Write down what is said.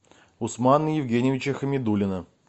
усмана евгеньевича хамидуллина